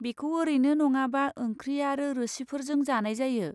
बेखौ ओरैनो नङाबा ओंख्रि आरो रोसिफोरजों जानाय जायो।